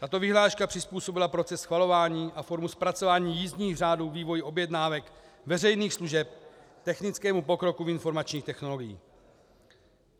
Tato vyhláška přizpůsobila proces schvalování a formu zpracování jízdních řádů vývoji objednávek veřejných služeb technickému pokroku v informačních technologiích.